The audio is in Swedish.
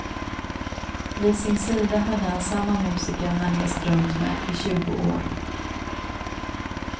Vid sin sida hade han samma musiker han rest runt med i tjugo år.